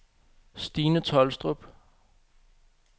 Stine Tolstrup